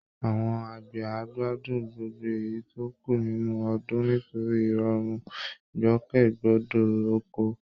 Àwọn àgbẹ̀ á gbádùn gbogbo èyí tó kú nínú ọdún nítorí ìrọ̀rùn ìgbòkègbodò ọkọ̀